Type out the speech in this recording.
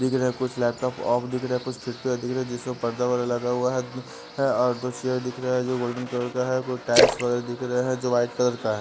दिख रहे हैं कुछ लैपटॉप ऑफ दिख रहे हैं कुछ खिड़कियाँ दिख रही हैं जिसमें पर्दा व लगा हुआ है और दो चेयर दिख रहा है जो गोल्डन कलर का है कुछ टाइल्स वैगरह दिख रहे हैं जो वाइट कलर का है।